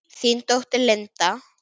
Þín dóttir, Linda.